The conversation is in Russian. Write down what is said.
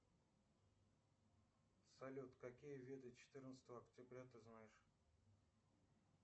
салют какие виды четырнадцатого октября ты знаешь